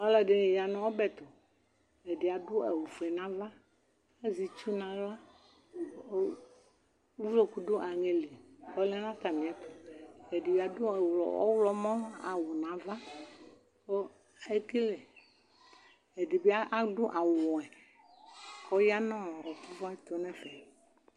ɔlò ɛdini ya no ɔbɛ to ɛdi adu awu fue n'ava azɛ itsu n'ala k'uvloku do aŋɛ li k'ɔlɛ n'atami ɛto ɛdi adu ɔwlɔmɔ awu n'ava kò ekele ɛdi bi adu awu wɛ k'ɔya no ivla to n'ɛfɛ